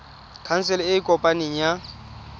khansele e e kopaneng ya